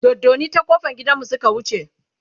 doddani ta ƙofan gidanmu Suka wuce